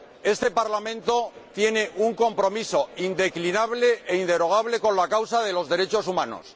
Este Parlamento tiene un compromiso indeclinable e inderogable con la causa de los derechos humanos.